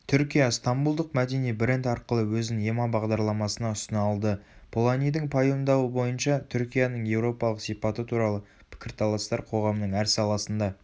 түркия стамбулдық мәдени бренд арқылы өзін ема бағдарламасына ұсына алды поланидің пайымдауы бойынша түркияның еуропалық сипаты туралы пікір-таластар қоғамның әр саласында